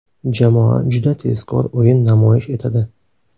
Jamoa juda tezkor o‘yin namoyish etadi.